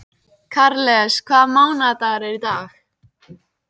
Karles, hvaða mánaðardagur er í dag?